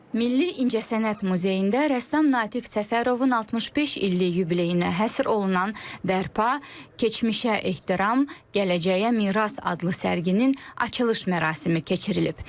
Milli İncəsənət Muzeyində rəssam Natiq Səfərovun 65 illik yubileyinə həsr olunan Bərpa, keçmişə ehtiram, gələcəyə miras adlı sərgisinin açılış mərasimi keçirilib.